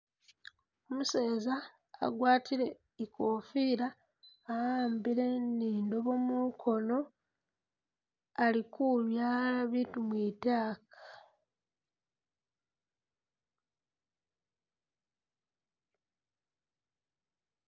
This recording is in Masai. Umuseeza agwatile ikofila awambile ni indobwo mukhoono ali kubyaala biitu mwitaaka.